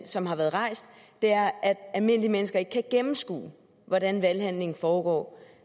som har været rejst er at almindelige mennesker ikke kan gennemskue hvordan valghandlingen foregår